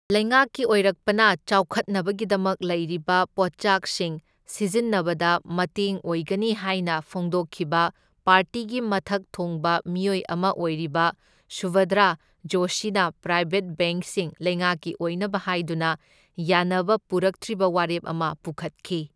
ꯂꯩꯉꯥꯛꯀꯤ ꯑꯣꯏꯔꯛꯄꯅ ꯆꯥꯎꯈꯠꯅꯕꯒꯤꯗꯃꯛ ꯂꯩꯔꯤꯕ ꯄꯣꯠꯆꯥꯛꯁꯤꯡ ꯁꯤꯖꯤꯟꯅꯕꯗ ꯃꯇꯦꯡ ꯑꯣꯏꯒꯅꯤ ꯍꯥꯏꯅ ꯐꯣꯡꯗꯣꯛꯈꯤꯕ ꯄꯥꯔꯇꯤꯒꯤ ꯃꯊꯛ ꯊꯣꯡꯕ ꯃꯤꯑꯣꯏ ꯑꯃ ꯑꯣꯏꯔꯤꯕ ꯁꯨꯚꯗ꯭ꯔ ꯖꯣꯁꯤꯅ ꯄ꯭ꯔꯥꯏꯕꯦꯠ ꯕꯦꯡꯛꯁꯤꯡ ꯂꯩꯉꯥꯛꯀꯤ ꯑꯣꯏꯅꯕ ꯍꯥꯏꯗꯨꯅ ꯌꯥꯅꯕ ꯄꯨꯔꯛꯇ꯭ꯔꯤꯕ ꯋꯥꯔꯦꯞ ꯑꯃ ꯄꯨꯈꯠꯈꯤ꯫